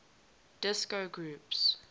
disco groups